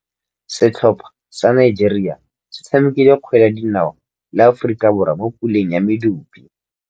Setlhopha sa Nigeria se tshamekile kgwele ya dinaô le Aforika Borwa mo puleng ya medupe.